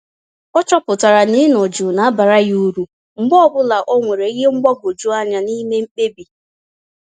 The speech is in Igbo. Ọchọpụtara na ịnọ jụụ na abara ya uru, mgbe ọbula onwere ìhè mgbagwoju anya n'ime mkpebi